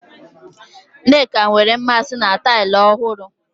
Nneka nwere mmasị na taịlị ọhụrụ.